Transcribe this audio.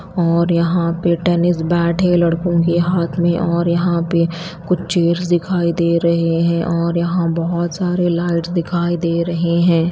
और यहां पे टेनिस बैट है लड़कों के हाथ में और यहां पे कुछ चेयर्स दिखाई दे रहे हैं और यहां बहोत सारे लाइट्स दिखाई दे रहे हैं।